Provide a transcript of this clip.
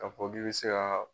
K' fɔ k'i bi se ka.